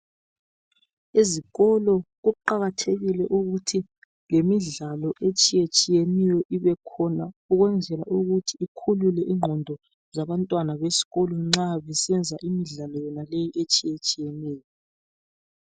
Izikolo kuqakathekile ukuthi lemidlalo etshiyetshiyeneyo ibekhona ukwenzela ukuthi ikhulule ingqondo zabantwana besikolo nxa besenza imidlalo yonaleyi etshiyetshiyeneyo.